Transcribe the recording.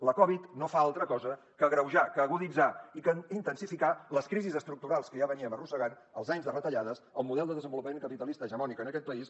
la covid no fa altra cosa que agreujar que aguditzar i que intensificar les crisis estructurals que ja veníem arrossegant els anys de retallades el model de desenvolupament capitalista hegemònic en aquest país